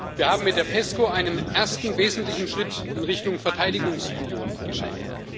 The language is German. Wir haben mit der PESCO einen ersten wesentlichen Schritt in Richtung Verteidigungsunion geschafft.